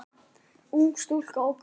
Ung stúlka óskast.